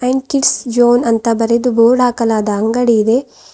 ಅಂಡ kids zone ಅಂತ ಬರೆದು board ಹಾಕಲಾದ ಅಂಗಡಿ ಇದೆ.